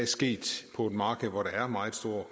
sket på et marked hvor der er meget